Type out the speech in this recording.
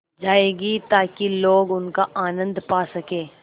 जाएगी ताकि लोग उनका आनन्द पा सकें